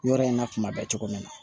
Yɔrɔ in na kuma bɛɛ cogo min na